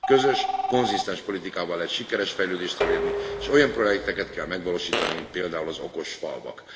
Közös, konzisztens politikával egy sikeres fejlődést elérni, és olyan projekteket kell megvalósítani, mint például az okos falvak.